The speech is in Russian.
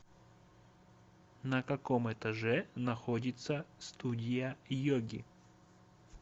на каком этаже находится студия йоги